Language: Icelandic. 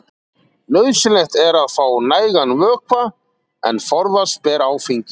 nauðsynlegt er að fá nægan vökva en forðast ber áfengi